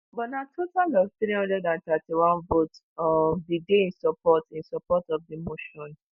but na total of three hundred and thirty-one votes um bin dey in support in support of di motion